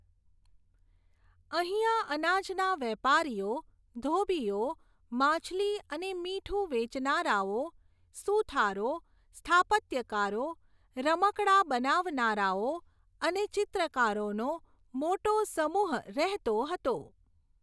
અહીંયા અનાજના વેપારીઓ, ધોબીઓ, માછલી અને મીઠું વેચનારાઓ, સુથારો, સ્થાપત્યકારો, રમકડાં બનાવનારાઓ, અને ચિત્રકારોનો મોટો સમુહ રહેતો હતો.